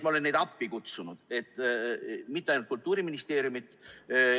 Ma olen ka neid appi kutsunud, mitte ainult Kultuuriministeeriumi.